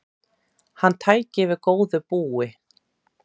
Hann tæki við góðu búi.